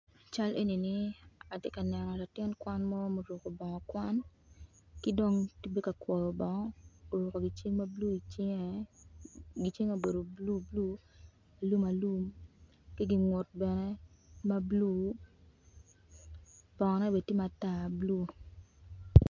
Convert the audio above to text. Cal enini atye ka neno latin kwan mo ma oruko bongo kwan ki dong tye bene ka kwoyo bongo oruko gicing ma bulu icinge gicinge obedo bulu bulu alumalum ki gingut bene ma bulu bongone bene tye matar bulu.